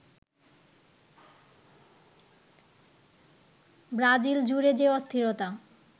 Brazil জুড়ে যে অস্থিরতা